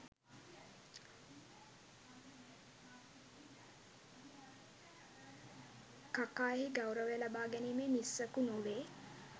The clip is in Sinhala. කකා එහි ගෞරවය ලබා ගැනීමේ නිස්සකු නොවේ